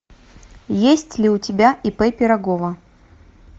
есть ли у тебя ип пирогова